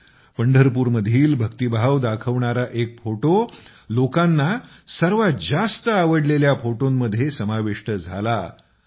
तसेच पंढरपूरमधील भक्तीभाव दाखवणारा एक फोटो लोकांना सर्वात जास्त आवडलेल्या फोटोमध्ये समाविष्ट झाला